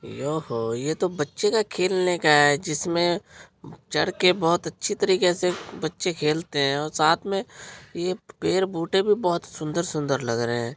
यहो यह तो बच्चे का खेलने का है जिसमे चड़के बहुत अच्छी तरीके से बच्चे खेलते हैं। और साथ मे एक पैड़ - बूटे भी बहुत सुंदर-सुंदर लग रहे हैं।